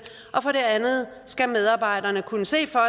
og for det andet skal medarbejderne kunne se for